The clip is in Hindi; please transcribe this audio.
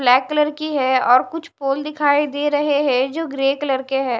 ब्लैक कलर की है और कुछ फूल दिखाई दे रहे हैं जो ग्रे कलर के हैं।